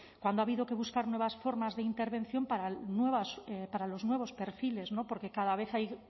cuando ha habido que buscar nuevas formas de intervención para nuevas para los nuevos perfiles porque cada vez hay